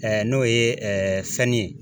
n'o ye fɛn ye